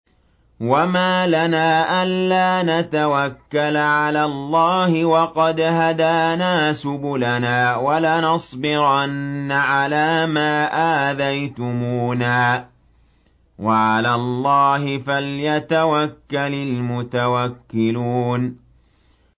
وَمَا لَنَا أَلَّا نَتَوَكَّلَ عَلَى اللَّهِ وَقَدْ هَدَانَا سُبُلَنَا ۚ وَلَنَصْبِرَنَّ عَلَىٰ مَا آذَيْتُمُونَا ۚ وَعَلَى اللَّهِ فَلْيَتَوَكَّلِ الْمُتَوَكِّلُونَ